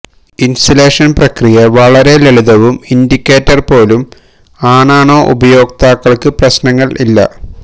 installation പ്രക്രിയ വളരെ ലളിതവും ഇൻഡിക്കേറ്റർ പോലും ആണാണോ ഉപയോക്താക്കൾക്ക് പ്രശ്നങ്ങൾ ഇല്ല